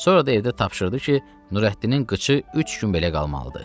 Sonra da evdə tapşırdı ki, Nurəddinin qıçı üç gün belə qalmalıdır.